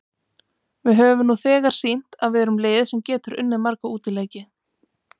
Við höfum nú þegar sýnt að við erum lið sem getur unnið marga útileiki.